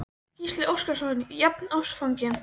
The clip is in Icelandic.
Gísli Óskarsson: Jafnástfanginn?